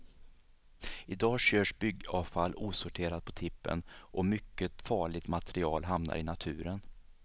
Idag körs byggavfall osorterat på tippen, och mycket farligt material hamnar i naturen.